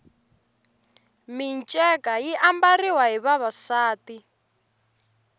minceka yi ambariwa hi vavasati